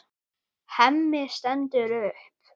Hemmi stendur upp.